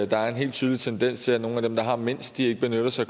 der er en helt tydelig tendens til at nogle af dem der har mindst ikke benytter sig